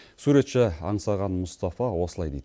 суретші аңсаған мұстафа осылай дейді